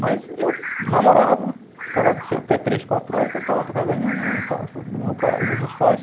Mas eu namorava, ficava até três, quatro horas e voltava para a casa da minha mãe e tal, para a casa dos meus pais.